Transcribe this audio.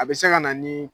A bɛ se ka na ni